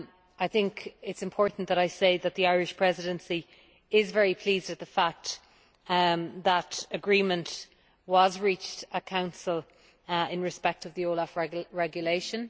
It is important to say that the Irish Presidency is very pleased at the fact that agreement was reached in Council in respect of the OLAF Regulation.